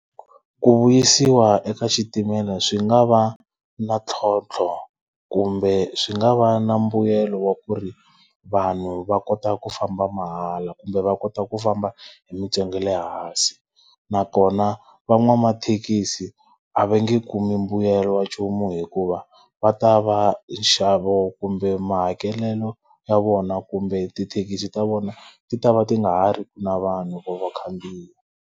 Ku vuyisiwa eka xitimela swi nga va na ntlhontlho kumbe swi nga va na mbuyelo wa ku ri, vanhu va kota ku famba mahala kumbe va kota ku famba hi mintsengo ya le hansi. Nakona van'wamathekisi a va nge kumi mbuyelo wa nchumu hikuva, va ta va nxavo kumbe mahakelelo ya vona kumbe tithekisi ta vona ti ta va ti nga ha ri ki na vanhu or vakhandziyi.